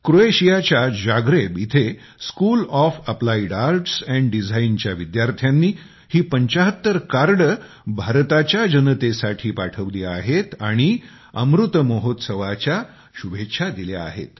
क्रोएशियाच्या जाग्रेब इथे school of applied arts and डीझाईनच्या विद्यार्थ्यांनी ही 75कार्डे भारताच्या जनतेसाठी पाठवली आहेत आणि अमृत महोत्सवाच्या शुभेच्छा दिल्या आहेत